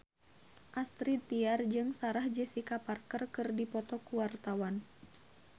Astrid Tiar jeung Sarah Jessica Parker keur dipoto ku wartawan